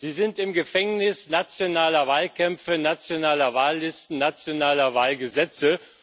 Sie sind im Gefängnis nationaler Wahlkämpfe, nationaler Wahllisten, nationaler Wahlgesetze.